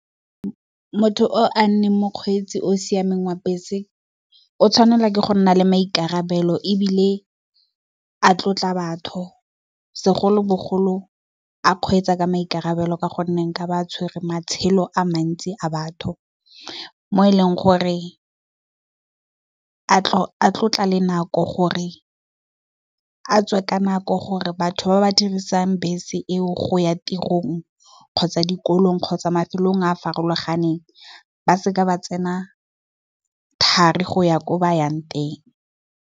Motho o a leng mokgweetsi o siameng wa bese o tshwanela ke go nna le maikarabelo. Ebile, a tlotla batho segolobogolo, a kgweetsa ka maikarabelo ka gonne otla be a tshwere matshelo a mantsi a batho, mo e leng gore a tlotle le nako gore a tswe ka nako, gore batho ba ba dirisang bese eo go ya tirong kgotsa dikolong, kgotsa mafelong a farologaneng ba seka ba tsena thari go ya ko ba yang teng.